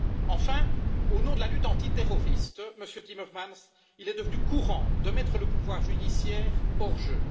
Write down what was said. Enfin, au nom de la lutte antiterroriste, Monsieur Timmermans, il est devenu courant de mettre le pouvoir judiciaire hors jeu.